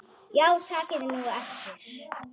Já takið nú eftir.